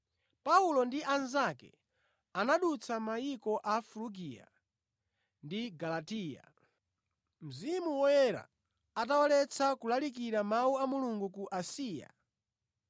Paulo ndi anzake anadutsa mayiko a Frugiya ndi Galatiya, Mzimu Woyera atawaletsa kulalikira Mawu a Mulungu ku Asiya.